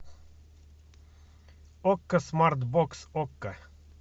окко смарт бокс окко